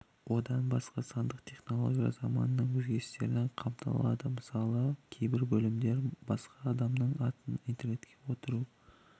одан басқа сандық технологиялар заманының өзгерістері де қамтылды мысалы кейбір бөлімдер басқа адамның атынан интернетте отыру